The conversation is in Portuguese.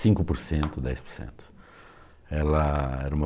cinco por cento, dez por cento. Ela era uma